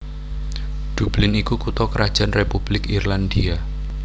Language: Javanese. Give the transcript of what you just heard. Dublin iku kutha krajan Republik Irlandia